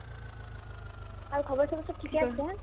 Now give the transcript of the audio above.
আৰু ঘৰৰ চবৰে চব ঠিকে আছে